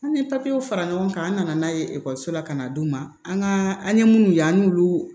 An ye papiyew fara ɲɔgɔn kan an nana n'a ye ekɔliso la ka na d'u ma an ka an ye minnu ye an n'olu